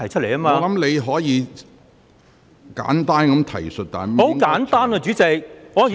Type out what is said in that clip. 我認為你可作簡單的提述，但不應......